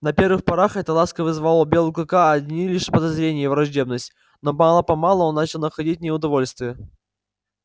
на первых порах эта ласка вызывала у белого клыка одни лишь подозрения и враждебность но мало помалу он начал находить в ней удовольствие